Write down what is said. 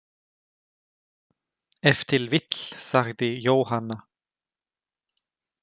Ef til vill, sagði Jóhanna.